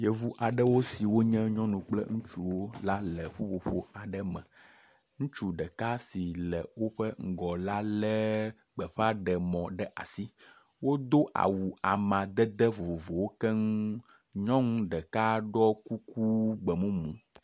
Yevu aɖewo siwo nye nyɔnuwo kple ŋutsuwo la le ƒuƒoƒo aɖe me. Ŋutsu ɖeka si le woƒe ŋgɔ la le gbeƒaɖemɔ aɖe ɖe asi. Wodo awu amadede vovovowo keŋ. Nyɔnu ɖeka ɖɔ kuku gbemumu.